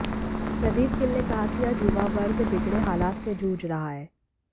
प्रदीप गिल ने कहा कि आज युवा वर्ग बिगड़े हालात से जूझ रहा है